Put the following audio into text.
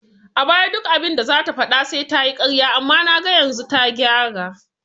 A baya duk abinda zata faɗa sai tayi ƙarya amma naga yanzu ta gyara